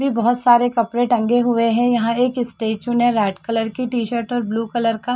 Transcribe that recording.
भी बोहोत सारे कपड़े टंगे हुए हैं। यहाँ एक स्टैचू ने रेड कलर के टी-शर्ट और ब्लू कलर का --